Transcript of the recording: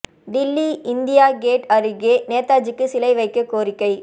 Delhi India gate அருகே நேதாஜிக்கு சிலை வைக்க கோரிக்கை